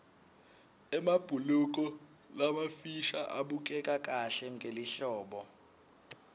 emabhuluko lamafisha abukeka kahle ngelihlobo